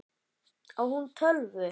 Á hún tölvu?